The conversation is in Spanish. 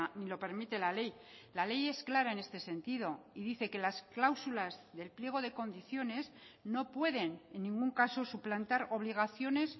ni lo permite la ley la ley es clara en este sentido y dice que las cláusulas del pliego de condiciones no pueden en ningún caso suplantar obligaciones